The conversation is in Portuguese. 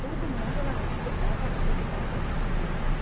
Todo mundo lá no Chile casa depois que está formado.